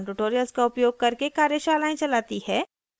spoken tutorials का उपयोग करके कार्यशालाएं चलाती है